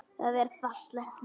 Það er fallegt nafn.